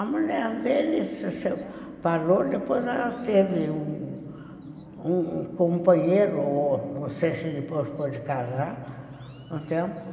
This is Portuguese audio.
A mulher dele se separou, depois ela teve um um um companheiro, ou não sei se depois pode casar, um tempo.